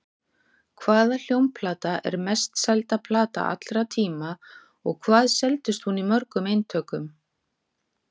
Hvaða hljómplata er mest selda plata allra tíma og hvað seldist hún í mörgum eintökum?